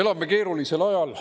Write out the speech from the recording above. Elame keerulisel ajal.